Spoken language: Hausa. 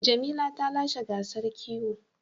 Jamila ta lashe gasar kiwo.